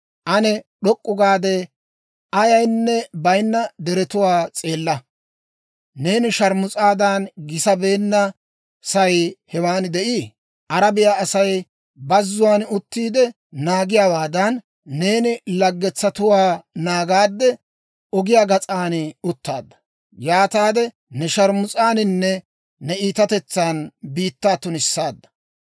Ane d'ok'k'u gaade, ayaynne bayinna deretuwaa s'eella. Neeni sharmus'aadan gisabeennasay hewan de'ii? Arabiyaa Asay bazzuwaan uttiide naagiyaawaadan, neeni laggetsatuwaa naagaadde ogiyaa gas'aan uttaadda. Yaataade ne sharmus'aaninne ne iitatetsan biittaa tunissaadda.